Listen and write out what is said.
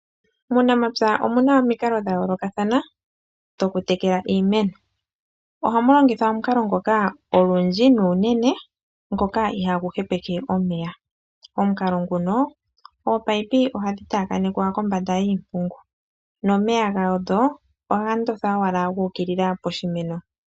Muunamapya omuna omikalo dhayoolokathana dhokutekela iimeno, ohamu longithwa omukalo ngoka olundji na unenene ngoka ihagu hepeke omeya omukalo nguka ominino ohadhi tayakanekwa kombanda yiimpungu nomeya gadho ohaga ndotha owala guka poshimeno.